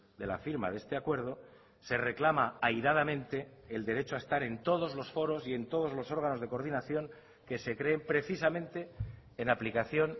de la firma de este acuerdo se reclama airadamente el derecho a estar en todos los foros y en todos los órganos de coordinación que se creen precisamente en aplicación